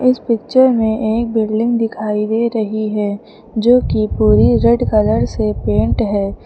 इस पिक्चर में एक बिल्डिंग दिखाई दे रही है जो पूरी रेड कलर से पेंट है।